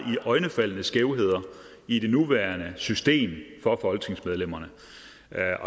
iøjnefaldende skævheder i det nuværende system for folketingsmedlemmerne